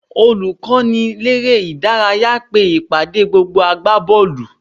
Olùkọ́niléré-ìdárayá pe ìpàdé gbogbo agbábọ́ọ̀lù